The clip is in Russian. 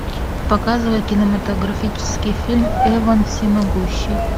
показывай кинематографический фильм эван всемогущий